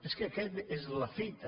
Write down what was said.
és que aquesta és la fita